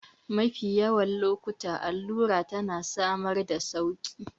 Mafi yawan lokuta allura tana samar da sauƙi